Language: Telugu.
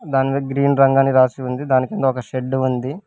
దాని మీద గ్రీన్ రంగని రాసి ఉంది దాని కింద ఒక షెడ్డు ఉంది.